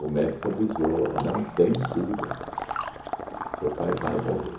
o médico avisou, não tem cura, seu pai vai morrer.